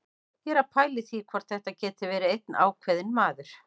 Ég er að pæla í því hvort þetta geti verið einn ákveðinn maður.